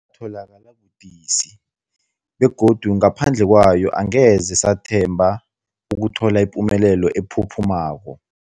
Yatholakala budisi, begodu ngaphandle kwayo angeze sathemba ukuthola ipumelelo ephuphumako.